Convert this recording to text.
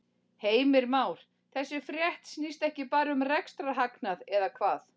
Heimir Már: Þessi frétt snýst ekki bara um rekstrarhagnað eða hvað?